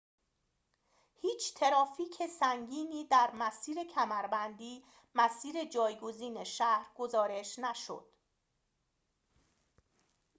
هیچ ترافیک سنگینی در مسیر کمربندی مسیر جایگزین شهر گزارش نشد